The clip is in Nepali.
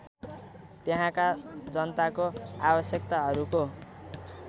त्यहाँका जनताको आवश्यकताहरूको